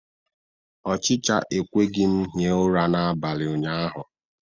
Ọchịcha ekweghị m hie ụra n'abalị ụnyaahụ